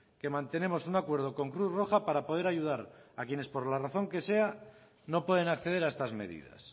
que mantenemos un acuerdo con cruz roja para poder ayudar a quienes por la razón que sea no pueden acceder a estas medidas